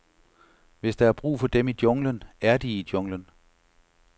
Hvis der er brug for dem i junglen, er de i junglen.